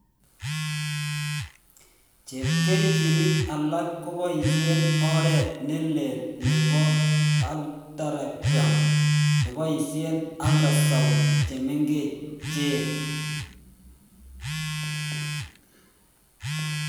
Chepkerichinik alak koboisien oret nelelk nebo arteriogram neboisisen ultrasound chemengech